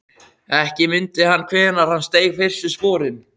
Ekki mundi hann hvenær hann steig fyrstu sporin.